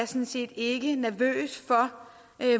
sådan set ikke nervøs for